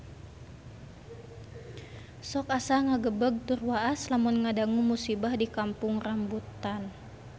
Sok asa ngagebeg tur waas lamun ngadangu musibah di Kampung Rambutan